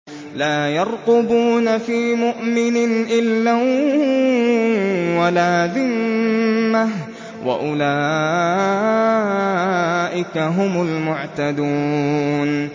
لَا يَرْقُبُونَ فِي مُؤْمِنٍ إِلًّا وَلَا ذِمَّةً ۚ وَأُولَٰئِكَ هُمُ الْمُعْتَدُونَ